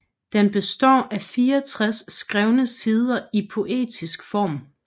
Den består af 64 skrevne sider i poetisk form